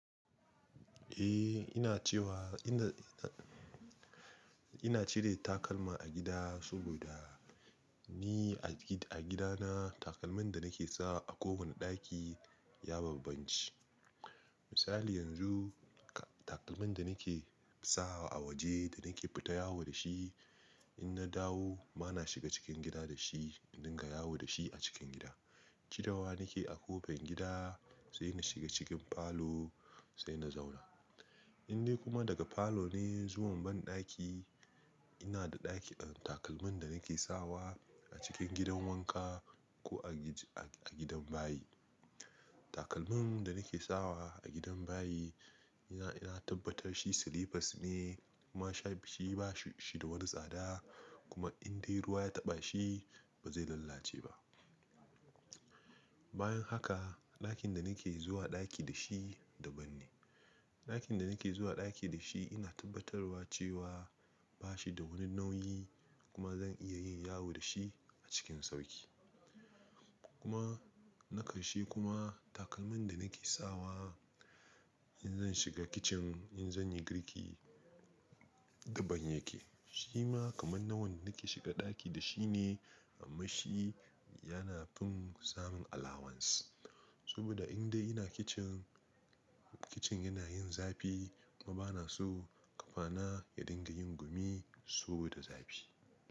Eh, ina cewa ina, ina cire takalma a gida saboda ni a gidana takalman da nake sawa a kowane ɗaki ya bambanci. Misali yanzu takalmin da nake sawa a waje da nake fita yawo da shi, in na dawo bana shiga cikin gida da shi in dinga yawo da shi a cikin gida. Cirewa nake a kofar gida sai na shiga cikin falo sai na zauna. In dai kuma daga falo ne zuwa banɗaki ina da ɗaki, takalmin da nake sawa a cikin gidan wanka ko a gidan bayi. Takalmin da nake sawa a gidan bayi na tabbatar shi slippers ne kuma shi ba shi da wani tsada kuma in dai ruwa ya taɓa shi ba zai lalace ba. Bayan haka ɗakin da nake zuwa ɗaki da shi daban ne. Ɗakin da nake zuwa ɗaki da shi ina tabbatarwa cewa ba shi da wani nauyi kuma zan iya yin yawo da shi a cikin sauƙi. Kuma na ƙarshe kuma takalmin da nake sawa in zan shiga kicin in zan yi girki daban yake. Shi ma kaman na wanda nake shiga ɗaki da shi ne amma shi yana fin samun allowance. Saboda in dai ina kicin, kicin yana yin zafi kuma bana so ƙafana ya dinga yin gumi saboda zafi.